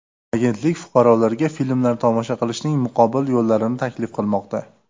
Agentlik fuqarolarga filmlar tomosha qilishning muqobil yo‘llarini taklif qilmoqda.